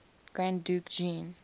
grand duke jean